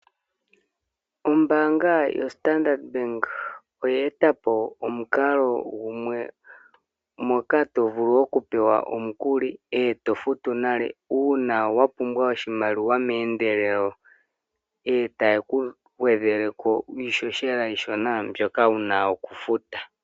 Ombaanga yoStandard Bank oya e ta po omukalo gumwe moka to vulu okupewa omukuli ngoye to futu nale uuna wa pumbwa oshimaliwa meendelelo. Ohaye ku gwedheleko iihohela iishona mbyoka wu na okufuta.